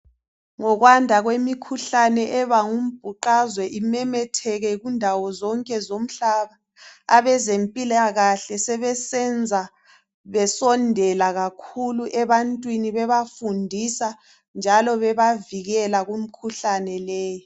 Ngokwanda kwemikhuhlane ebangumbuqazwe imemetheke kundawo zonke zomhlaba abezempilakahle sebesenza besondela kakhulu ebantwini njalo beba fundisa njalo bebavikela kumukhuhlane leyi